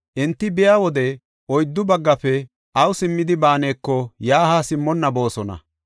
Enti biya wode oyddu baggafe awu simmidi baaneko yaa haa simmonna boosona.